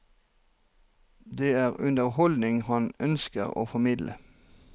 Det er underholdning han ønsker å formidle.